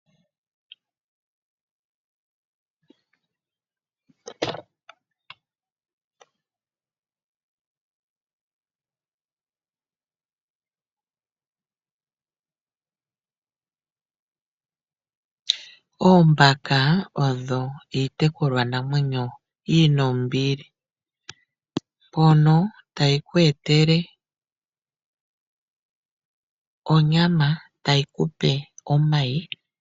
Oombaka odho iitekulwa namwenyo yina ombili, mbyoka tayi kuetele onyama tayi kupe omayi.